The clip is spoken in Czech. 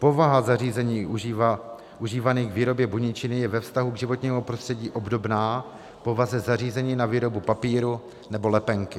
Povaha zařízení užívaných k výrobě buničiny je ve vztahu k životnímu prostředí obdobná povaze zařízení na výrobu papíru nebo lepenky.